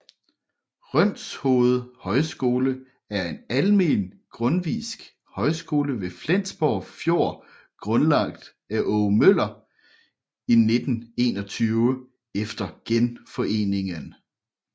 Rønshoved Højskole er en almen grundtvigsk højskole ved Flensborg Fjord grundlagt af Aage Møller i 1921 efter Genforeningen